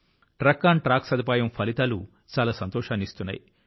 truck on track సదుపాయం ఫలితాలు చాలా సంతోషానిస్తున్నాయి